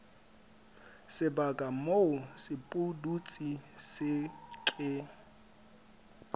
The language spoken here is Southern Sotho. sebaka moo sepudutsi se ke